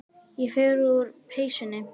Ég fer úr peysunni.